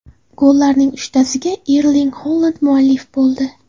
Gollarning uchtasiga Erling Holand muallif bo‘ldi.